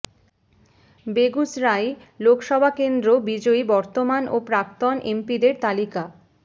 বেগুসরাই লোকসভা কেন্দ্র বিজয়ী বর্তমান ও প্রাক্তন এমপিদের তালিকা